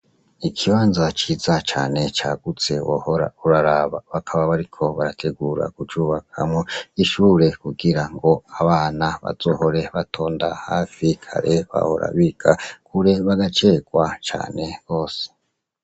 Ikibanza ciza cane, cagutse, wohora uraraba! Bakaba bariko barategura kucubakamwo ishure, kugira abana bazohore batonda hafi, kare bahora biga kure cane, bagacerwa gose.